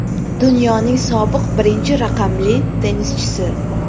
Dunyoning sobiq birinchi raqamli tennischisi.